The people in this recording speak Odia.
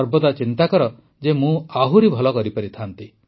ସର୍ବଦା ଚିନ୍ତା କର ଯେ ମୁଁ ଆହୁରି ଭଲ କରିପାରିଥାଆନ୍ତି